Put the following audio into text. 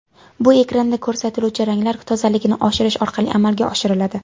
Bu ekranda ko‘rsatiluvchi ranglar tozaligini oshirish orqali amalga oshiriladi.